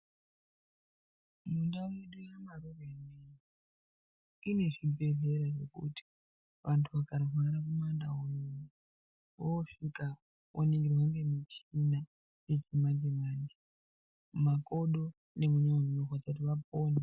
Mundau yedu yemaroro ineyi ine zvibhedhlera zvekuti vantu vakarwara mumandau, voosvika voningirwa ngemuchina yechimanje manje. Mumakodo nemumweni munenge mweirwadza kuti vapone.